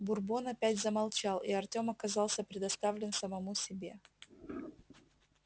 бурбон опять замолчал и артём оказался предоставлен самому себе